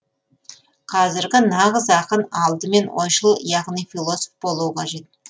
қазіргі нағыз ақын алдымен ойшыл яғни философ болуы қажет